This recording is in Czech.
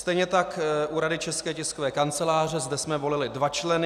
Stejně tak u Rady České tiskové kanceláře - zde jsme volili dva členy.